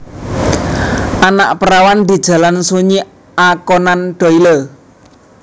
Anak Perawan di Jalan Sunyi A Conan Doyle